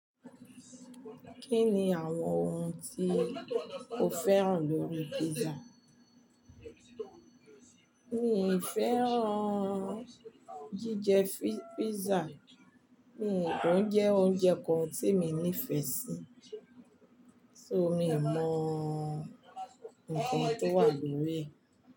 Kí ni àwọn ohun tí o féràn lórí pizza? Mi ì féràn jíjẹ pizza, òun kò jẹ́ oúnjẹ kan tí mi nífẹ̀ẹ́ sí, ṣó mi mọ nnkan tó wà lórí rẹ̀.